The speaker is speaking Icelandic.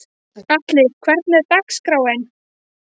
Atli, hvernig er dagskráin?